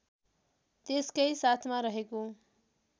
त्यसकै साथमा रहेको